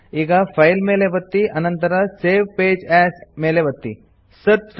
ಈಗ ಫೈಲ್ ಮೇಲೆ ಒತ್ತಿ ಆನಂತರ ಸೇವ್ ಪೇಜ್ ಎಎಸ್ ಮೇಲೆ ಒತ್ತಿರಿ